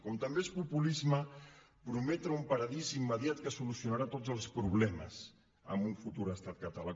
com també és populisme prometre un paradís immediat que solucionarà tots els problemes en un futur estat català